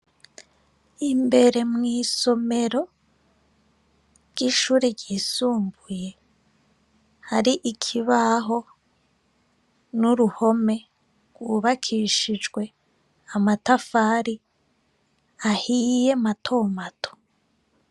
Imbere mw' isomero bw' ishure ryisumbuye hari ikibaho n' uruhome gwubakishijwe amatafari ahiye mato mato.